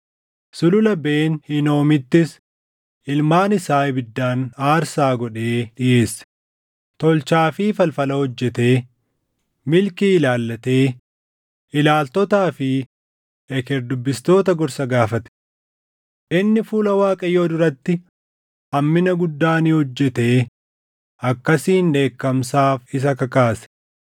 Sulula Ben Hinoomittis ilmaan isaa ibiddaan aarsaa godhee dhiʼeesse; tolchaa fi falfala hojjetee, milkii ilaallatee, ilaaltotaa fi eker dubbistoota gorsa gaafate. Inni fuula Waaqayyoo duratti hammina guddaa ni hojjetee akkasiin dheekkamsaaf isa kakaase.